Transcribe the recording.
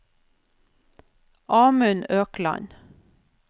Amund Økland